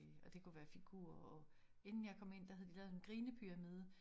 Øh og det kunne være figurer og inden jeg kom ind der havde de lavet et grinepyramide